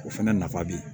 O fɛnɛ nafa be ye